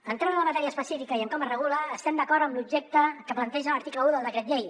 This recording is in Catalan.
entrant en la matèria específica i en com es regula estem d’acord amb l’objecte que planteja l’article un del decret llei